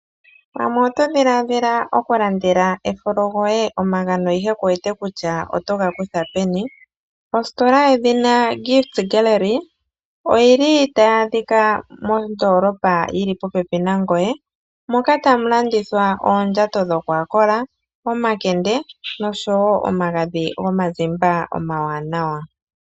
Pamwe oto dhiladhila okulandela ekolo goye omagano ashike kuwete kutya otoga kutha peni, ositola yedhina Gift Gallery oyili tayi adhika mondoolopa yili popepi nangoye moka tamu landithwa oondjato dhokwakola, omakende nosho woo omagadhi gomazimba omawanawa.